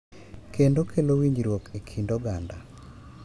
Kendo kelo winjruok e kind oganda.